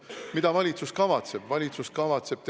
Mida valitsus kavatseb?